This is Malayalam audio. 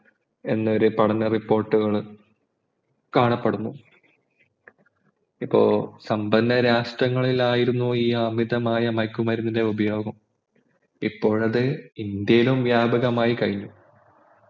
എന്നൊരു പഠന report കള്കാ ണപ്പെടുന്നു ഇപ്പൊ സമ്പന്നരാഷ്ട്രങ്ങളിലായിരുന്നു ഈ അമിതമായ മയക്കുമരുന്നിൻ്റെ ഉപയോഗം ഇപ്പോൾ അത് ഇന്ത്യയിലും വ്യാപകമായി കഴിഞ്ഞു